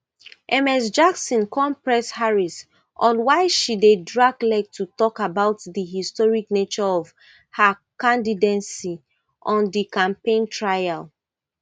ms jackson come press harris on why she dey drag leg to talk about di historic nature of her candidacy on di campaign trail